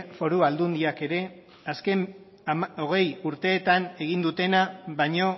foru aldundiak ere azken hogei urteetan egin dutena baino